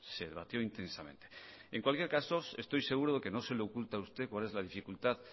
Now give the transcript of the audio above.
se debatió intensamente en cualquier caso estoy seguro de que no se le oculta a usted cuál es la dificultad